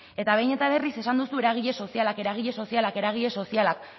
eta behin eta berriz esan duzu eragile sozialak eragile sozialak eragile sozialak